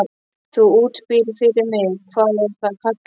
Þú útbýrð fyrir mig- hvað er það kallað?